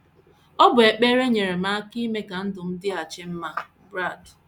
“ Ọ bụ ekpere nyeere m aka ime ka ndụ m dịghachi mma. ” Brad.